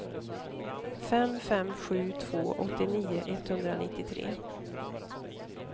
fem fem sju två åttionio etthundranittiotre